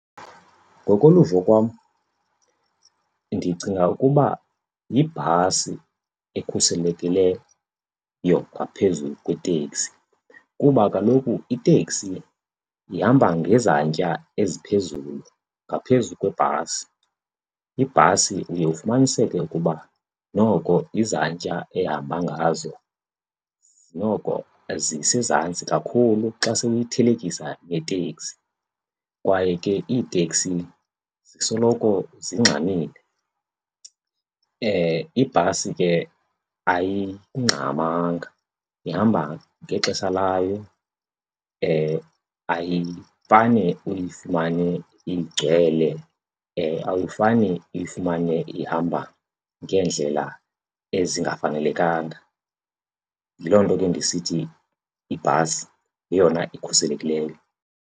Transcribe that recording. Ngokoluvo kwam ndicinga ukuba yibhasi ekhuselekileyo ngaphezu kweteksi kuba kaloku iteksi ihamba ngezantya eziphezulu ngaphezu kwebhasi. Ibhasi uye ufumaniseke ukuba noko izantya ehamba ngazo noko zisezantsi kakhulu xa sewuyithelekisa neteksi kwaye ke iiteksi zisoloko zingxamile. Ibhasi ke ayingxamanga, ihamba ngexesha layo, ayifane uyifumane igcwele, awufane uyifumane ihamba ngeendlela ezingafanelekanga. Yiloo nto ke ndisithi ibhasi yeyona ikhuselekileyo.